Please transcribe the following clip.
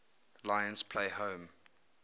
lions play home